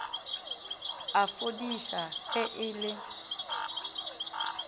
a fodiša ge e le